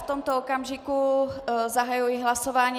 V tomto okamžiku zahájím hlasování.